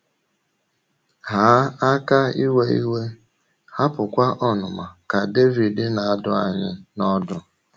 “ Haa aka iwe iwe, hapụkwa ọnụma, ” ka Devid na - adụ anyị n’ọdụ.